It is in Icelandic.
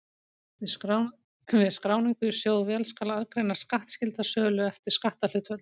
Við skráningu í sjóðvél skal aðgreina skattskylda sölu eftir skatthlutföllum.